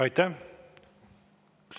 Aitäh!